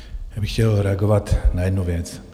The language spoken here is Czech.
Já bych chtěl reagovat na jednu věc.